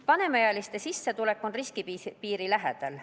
Vanemaealiste sissetulek on riskipiiri lähedal.